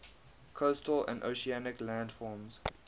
coastal and oceanic landforms